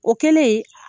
O kɛlen